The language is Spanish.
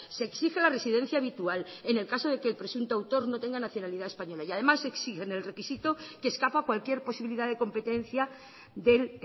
se exige la residencia habitual en el caso de que el presunto autor no tenga nacionalidad española y además exigen el requisito que escapa a cualquier posibilidad de competencia del